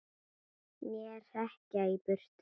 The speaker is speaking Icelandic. Né hrekja í burt!